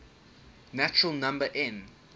natural number n